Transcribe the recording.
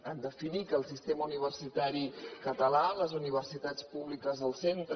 en definir que el sistema universitari català les universitats públiques del centre